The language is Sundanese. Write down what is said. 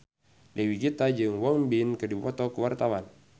Dewi Gita jeung Won Bin keur dipoto ku wartawan